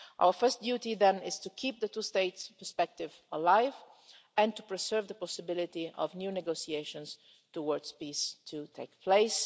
Our first duty, then, is to keep the two-state perspective alive and to preserve the possibility of new negotiations towards peace to take place.